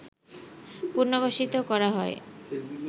পুনর্বাসিত করা হয়